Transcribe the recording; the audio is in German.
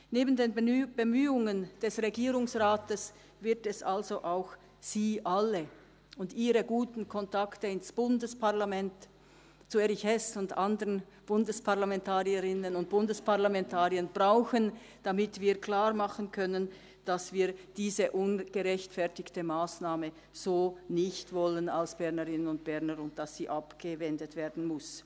Neben den Bemühungen des Regierungsrates wird es also auch Sie alle und ihre guten Kontakte ins Bundesparlament, zu Erich Hess und anderen Bundesparlamentarierinnen und Bundesparlamentariern, brauchen, damit wir klarmachen können, dass wir als Bernerinnen und Berner diese ungerechtfertigte Massnahme so nicht wollen und sie abgewendet werden muss.